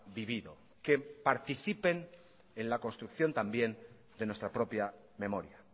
vivido que participen en la construcción también de nuestra propia memoria